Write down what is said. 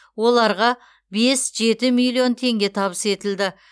оларға бес жеті миллион теңге табыс етілді